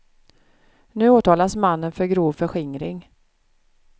Nu åtalas mannen för grov förskingring.